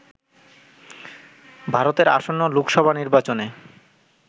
ভারতের আসন্ন লোকসভা নির্বাচনে